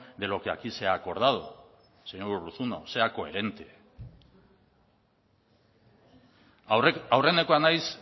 de lo que aquí se ha acordado señor urruzuno sea coherente aurrenekoa naiz